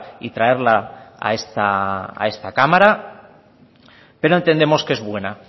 y traerla a esta cámara pero entendemos que es buena